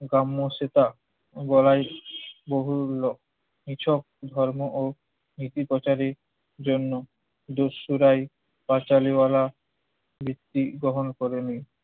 কাম্য সেটা বলাই বহুমূল্য। এসব ধর্ম ও নীতি প্রচারের জন্য দরশুরাই পাঁচালী ওয়ালা ভিত্তি গ্রহণ করে নেয়।